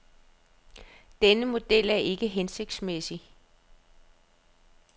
Denne model er ikke hensigtsmæssig.